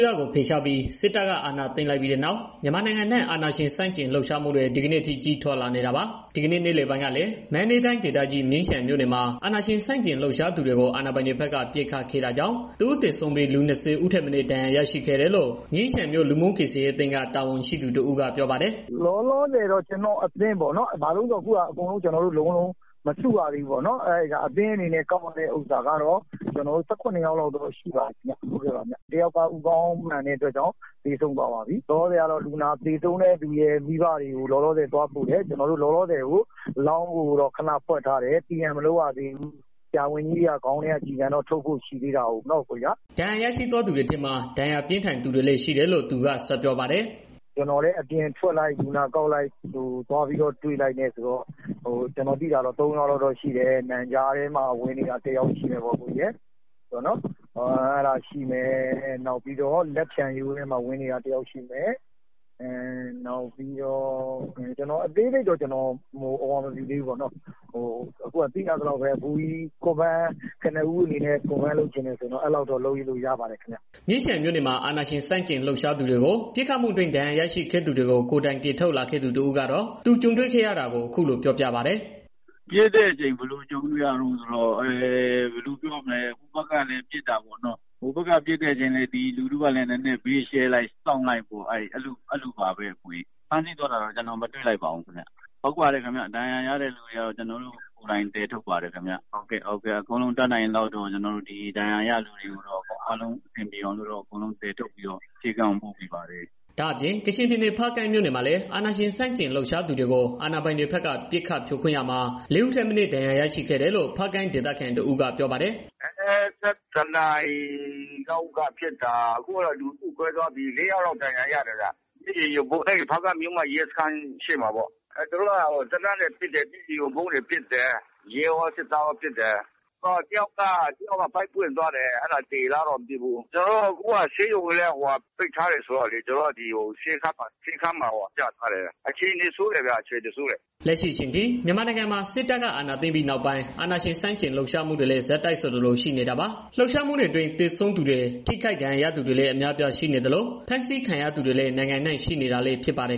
ရကို ဖယ်ရှားပြီး စစ်တပ်က အာဏာသိမ်းလိုက်ပြီးနောက် မြန်မာနိုင်ငံအနှံ့ အာဏာရှင်ဆန့်ကျင်လှုပ်ရှားမှုတွေ ဒီကနေ့အထိ ကြီးထွားလာနေတာပါ။ ဒီကနေ့ နေ့လယ်ပိုင်းကလည်း မန္တလေးတိုင်းဒေသကြီး မြင်းခြံမြို့နယ်မှာ အာဏာရှင်ဆန့်ကျင်လှုပ်ရှား သူတွေကို အာဏာပိုင်တွေဘက်က ပစ်ခတ်ခဲ့တာကြောင့် တစ်ဦးသေဆုံးပြီး လူ ၂၀ ထက်မနည်း ဒဏ်ရာရရှိခဲ့တယ်လို့ မြင်းခြံမြို့ လူမှုကယ်ဆယ်ရေးအသင်းက တာဝန်ရှိသူတစ်ဦးက ပြောပါတယ်။ “လောလောဆယ်ကတော့ ကျနော်တို့ အသင်းက အကုန်လုံးတော့ မစုရသေးဘူးပေါ့နော်။ လက်ရှိ အသင်းအနေနဲ့ ကောက်ရတဲ့ ဥစ္စာကတော့ ကျနော်တို့ ၁၇ နှစ်ယောက်လောက်တော့ ရှိပါပြီဗျာ။ တစ်ယောက်ကတော့ ဦးခေါင်း ထိမှန်တဲ့အတွက် သေဆုံးသွားပါပြီ။ အခုကတော့ သေဆုံးသွားသူတွေရဲ့ မိဘတွေကို လောလောဆယ် သွားပို့တယ်။ အလောင်းကိုတော့ ခဏ ဖွက်ထားတယ်။ TM မလုပ်ရသေးဘူး။ ဆရာဝန်ကြီးတွေက ခေါင်းထဲက ကျည်ဆံကို ထုတ်ဖို့ ရှိသေးတာပေါ့နော်။” ဒဏ်ရာရရှိသူတွေထဲမှာ ဒဏ်ရာပြင်းထန်သူတွေလည်း ရှိတယ်လို့ သူက ဆက်ပြောပါတယ်။ “ကျနော်လည်း အပြင်ထွက်လိုက် လူနာကောက်လိုက် သွားပြီးတော့ တွေ့လိုက်နဲ့... ကျနော် သိတာတော့ သုံးယောက်လောက်တော့ ရှိတယ်။ နံကြားထဲမှာ ဝင်နေတာ တစ်ယောက် ရှိမယ်ပေါ့။ နောက်ပြီးတော့ လက်ဖျံရိုးထဲမှာ ဝင်နေတာ တစ်ယောက်ရှိမယ်။ အသေးစိတ်တော့ မသိသေးပါဘူး။ ကနဦးအနေနဲ့ အတည်ပြုလို့ရတာတော့ အဲဒီလောက်တော့ လုပ်လို့ ရပါတယ်ခင်ဗျာ။” မြင်းခြံမြို့နယ်မှာ အာဏာရှင်ဆန့်ကျင်လှုပ်ရှားသူတွေကို ပစ်ခတ်မှုအတွင်း ဒဏ်ရာရရှိခဲ့သူတွေကို ကိုယ်တိုင်ကယ်ထုတ်လာခဲ့သူ တစ်ဦးကတော့ သူကြုံတွေ့ခဲ့ရတာကို အခုလို ပြောပါတယ်။ “ဖြစ်တဲ့အချိန် ဘယ်လိုကြုံတွေ့ရလဲဆိုတော့... ဟိုဘက်ကလည်း ပစ်တာပေါ့နော်။ ဟိုဘက်က ပစ်တဲ့အချိန် လူထုကလည်း ဘေးကို ချဲလိုက်၊ စောင့်လိုက်ပေါ့နော်။ အဲဒီလိုပဲပေါ့နော်။ဖမ်းဆီးသွားတာတော့ ကျနော်မတွေ့လိုက်ပါဘူး ခင်ဗျ။ ဒဏ်ရာရတဲ့သူတွေကိုတော့ ကျနော်တို့ ကိုယ်တိုင်သယ်ထုတ်ပါတယ်ခင်ဗျ။ အကုန်လုံး တတ်နိုင်သလောက်တော့ ဒဏ်ရာရတဲ့သူတွေကို အဆင်ပြေအောင်တော့ ဆေးခန်းကို ပို့ပေးပါတယ်။” ဒါ့အပြင် ကချင်ပြည်နယ် ဖားကန့်မြို့မှာလည်း အာဏာရှင် ဆန့်ကျင်လှုပ်ရှားသူတွေကို အာဏာပိုင်တွေဘက်က ပစ်ခတ်ဖြိုခွင်းရာမှာ လေးဦးထက်မနည်း ဒဏ်ရာရရှိခဲ့တယ်လို့ ဖားကန့်ဒေသခံ တစ်ဦးက ပြောပါတယ်။ “၁၁ နာရီလောက်က ဖြစ်တာ အခုကတော့ လူစုကွဲသွားပြီလေ လေးယောက်လောက်တော့ ဒဏ်ရာရတယ်ဗျ။ ဖားကန့်မြို့မ ရဲစခန်းရှေ့မှာ ဖြစ်တာဗျ။ သူတို့က သေနတ်နဲ့ ပစ်တယ်။ မျက်ရည်ယိုဗုံးတွေ ပစ်တယ်။ ရဲရော၊ စစ်သားရော ပစ်တယ်။ တစ်ယောက်က ဗိုက်ပွင့် သွားတယ်။ သေလား၊ မသေလားတော့ မသိဘူး။ အခုက ဆေးရုံကိုလည်း ပိတ်ထားတယ်ဆိုတော့ ဆေးခန်းမှာ ပြထားတယ်။ အခြေအနေ ဆိုးတယ်ဗျ၊ အခြေအနေဆိုးတယ်။” လက်ရှိအချိန်ထိ မြန်မာနိုင်ငံမှာ စစ်တပ်က အာဏာသိမ်းပြီးနောက်ပိုင်း အာဏာရှင် ဆန့်ကျင် လှုပ်ရှားမှုတွေကလည်း ဆက်တိုက်ဆိုသလို ရှိနေတာပါ။ လှုပ်ရှားမှုတွေအတွင်း သေဆုံးသူတွေ၊ ထိခိုက်ဒဏ်ရာရသူတွေလည်း အများအပြားရှိနေသလို ဖမ်းဆီးခံရသူတွေလည်း နိုင်ငံအနှံ့ ရှိနေတာလည်း ဖြစ်ပါတယ်